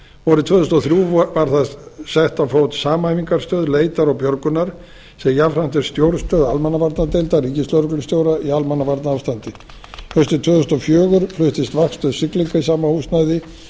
vorið tvö þúsund og þrjú var sett þar á fót samhæfingarstöð leitar og björgunar sem jafnframt er stjórnstöð almannavarnadeildar ríkislögreglustjóra í almannavarnaástandi haustið tvö þúsund og fjögur fluttist vaktstöð siglinga í sama húsnæði